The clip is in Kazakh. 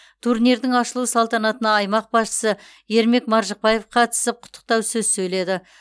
турнирдің ашылу салтанатына аймақ басшысы ермек маржықпаев қатысып құттықтау сөз сөйледі